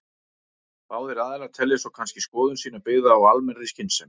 Báðir aðilar telja svo kannski skoðun sína byggða á almennri skynsemi.